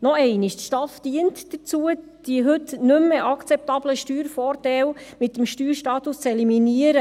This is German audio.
Noch einmal: Die STAF dient dazu, die heute nicht mehr akzeptablen Steuervorteile mit dem Steuerstatus zu eliminieren.